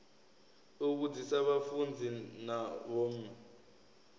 u vhudzisa vhafunzi na vhomme